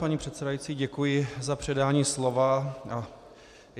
Paní předsedající, děkuji za předání slova.